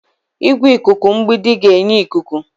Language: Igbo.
Igwe ikuku mgbidi ga-enye ikuku.